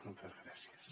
moltes gràcies